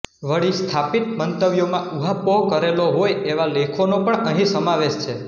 વળી સ્થાપિત મંતવ્યોમાં ઊહાપોહ કરેલો હોય એવા લેખોનો પણ અહીં સમાવેશ છે